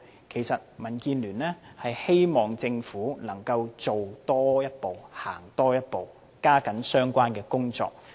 其實民建聯希望政府能夠多做一步、多走一步，加緊進行相關工作。